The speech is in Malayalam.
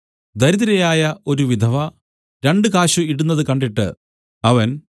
ദരിദ്രയായ ഒരു വിധവ രണ്ടു കാശ് ഇടുന്നത് കണ്ടിട്ട് അവൻ